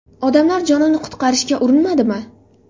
Odamlar jonini qutqarishga urinmadimi?